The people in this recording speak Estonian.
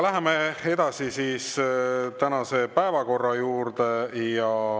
Läheme edasi tänase päevakorra juurde.